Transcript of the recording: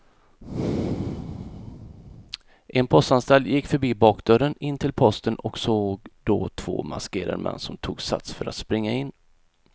En postanställd gick förbi bakdörren in till posten och såg då två maskerade män som tog sats för att springa in.